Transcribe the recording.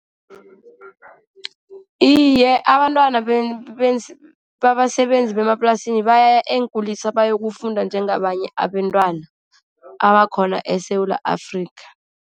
Iye, abantwana babasebenzi bemaplasini baya eenkulisa bayokufunda njengabanye abentwana abakhona eSewula Afrika.